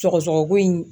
Sɔgɔsɔgɔ ko in